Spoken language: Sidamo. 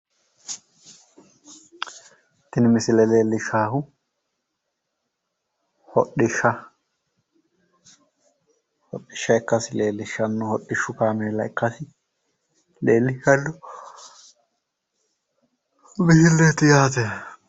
Tini misile leeellishaahu hodhishsha. Hodhishsh kaameela ikkasi hodhishshu kaameela ikkasi leellishshanno misileeti yaate